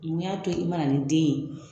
Mun y'a to i ma na ni den ye